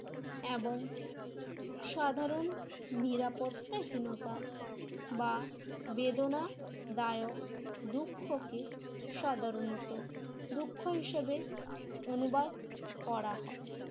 এবং সাধারণ নিরাপত্তাহীনতা বা বেদনা দায়ক দুঃখকে সাধারণত দুঃখ হিসেবে অনুবাদ করা হয়।